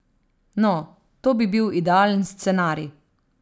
No, to bi bil idealen scenarij.